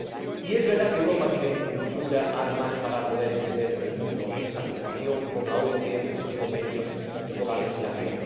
Y es verdad que Europa tiene multitud de armas para poder extender por el mundo esta preocupación por la OIT, por sus convenios y por la legislación.